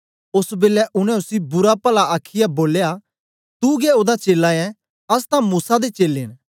ओस बेलै उनै उसी बुरापला आखीयै बोले तू गै ओदा चेला ऐं अस तां मूसा दे चेलें न